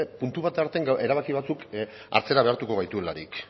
puntu bat artean erabaki batzuk atzera behartu gaituelarik